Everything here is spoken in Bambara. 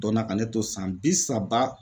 Donna ka ne to san bi saba